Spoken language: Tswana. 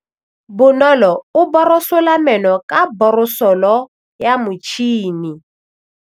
Bonolô o borosola meno ka borosolo ya motšhine.